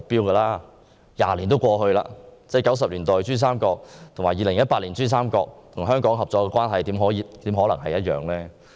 二十年過去了 ；1990 年代的珠三角和2018年的珠三角與香港的合作關係，怎可能一樣？